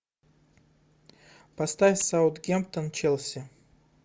поставь саутгемптон челси